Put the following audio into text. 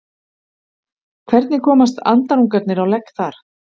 Hvernig komast andarungarnir á legg þar?